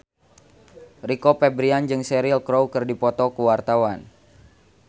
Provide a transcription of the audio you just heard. Rio Febrian jeung Cheryl Crow keur dipoto ku wartawan